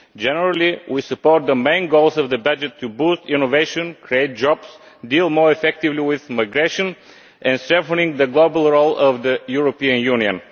Generally, we support the main goals of the budget to boost innovation, create jobs, deal more effectively with migration and strengthen the global role of the European Union.